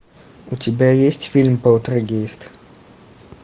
у тебя есть фильм полтергейст